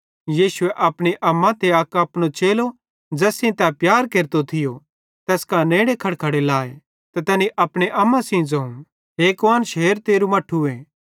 यीशुए अपनी अम्मा ते अक अपनो चेलो ज़ैस सेइं तै प्यार केरतो थियो तैस कां नेड़े खड़खड़ो लाव त तैनी अपने अम्मा सेइं ज़ोवं हे कुआन्श हेर तेरू मट्ठूए